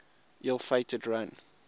ill fated run